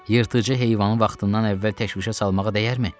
Yırtıcı heyvanı vaxtından əvvəl təşvişə salmağa dəyərmi?